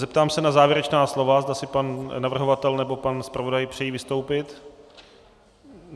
Zeptám se na závěrečná slova, zda si pan navrhovatel nebo pan zpravodaj přejí vystoupit.